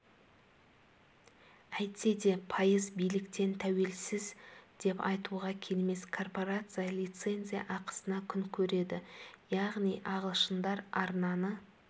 әйтсе де пайыз биліктен тәуелсіз деп айтуға келмес корпорация лицензия ақысына күн көреді яғни ағылшындар арнаны